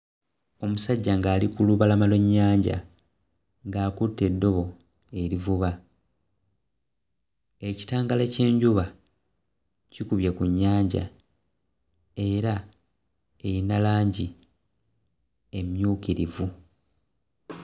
Omusajja ng'ali ku lubalama lw'ennyanja ng'akutte eddobo erivuva ekitangaala ky'enjuba kikubye ku nnyanja era eyina langi emmyukirivu.